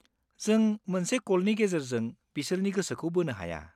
जों मोनसे कलनि गेजेरजों बिसोरनि गोसोखौ बोनो हाया।